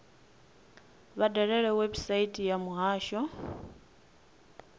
vha dalele website ya muhasho